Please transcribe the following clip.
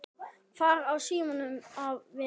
Hvar á síminn að vera?